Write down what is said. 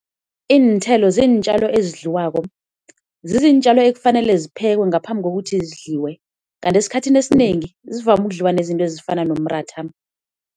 Iinthelo ziintjalo ezidliwako, zizintjalo ekufanele ziphekwe ngaphambi kokuthi zidliwe, kanti esikhathini esinengi zivame ukudliwa nezinto ezifana nomratha.